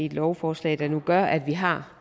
i et lovforslag der nu gør at vi har